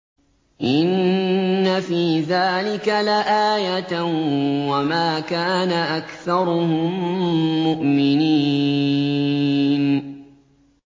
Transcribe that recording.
إِنَّ فِي ذَٰلِكَ لَآيَةً ۖ وَمَا كَانَ أَكْثَرُهُم مُّؤْمِنِينَ